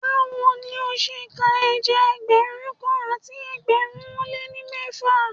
Báwo lo ṣe ka ẹja Ẹgbẹ̀rún kan àti ẹgbẹ̀rin ó lé ní mẹ́fà?